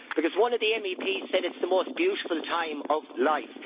As one of the MEPs said, it is the most beautiful time of life.